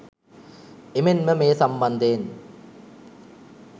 එමෙන් ම මේ සම්බන්ධයෙන්